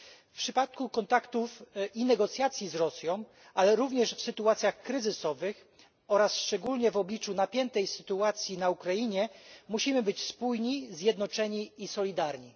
W przypadku kontaktów i negocjacji z Rosją, ale również w sytuacjach kryzysowych oraz szczególnie w obliczu napiętej sytuacji na Ukrainie, musimy być spójni, zjednoczeni i solidarni.